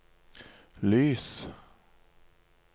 lys